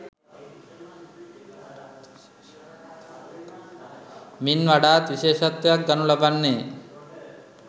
මින් වඩාත් විශේෂත්වයක් ගනු ලබන්නේ